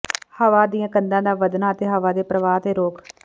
ਹਵਾ ਦੀਆਂ ਕੰਧਾਂ ਦਾ ਵਧਣਾ ਅਤੇ ਹਵਾ ਦੇ ਪ੍ਰਵਾਹ ਤੇ ਰੋਕ